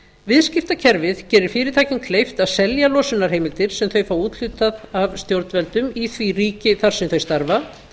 viðskiptakerfið gerir fyrirtækjum kleift að selja losunarheimildir sem þau fá úthlutað af stjórnvöldum í því ríki þar sem þau starfa